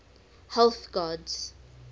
health gods